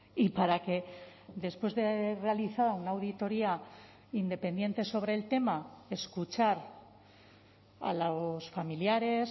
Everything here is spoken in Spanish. y para que después de realizada una auditoría independiente sobre el tema escuchar a los familiares